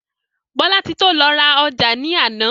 Bolatito lọ ra ọjà ní àná.